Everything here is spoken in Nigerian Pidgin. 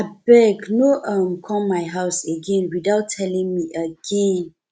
abeg no come um my house again without telling me again